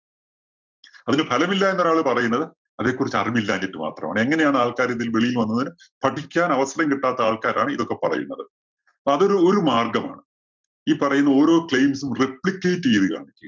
അതിന് ഫലം ഇല്ല എന്ന് ഒരാള് പറയുന്നത് അതേക്കുറിച്ച് അറിവില്ലാഞ്ഞിട്ട് മാത്രമാണ്. എങ്ങനെയാണ് ആൾക്കാര് ഇതില്‍ നിന്നും വെളിയിൽ വന്നത് പഠിക്കാൻ അവസരം കിട്ടാത്ത ആൾക്കാരാണ് ഇതൊക്കെ പറയുന്നത്. അപ്പോ അതൊരു ഒരു മാർഗ്ഗമാണ്. ഈ പറയുന്ന ഓരോ claims ഉം replicate ചെയ്ത്